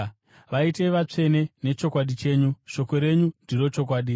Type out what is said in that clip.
Vaitei vatsvene nechokwadi chenyu; shoko renyu ndiro chokwadi.